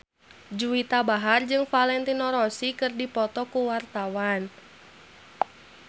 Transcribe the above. Juwita Bahar jeung Valentino Rossi keur dipoto ku wartawan